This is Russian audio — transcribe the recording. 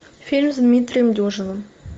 фильм с дмитрием дюжевым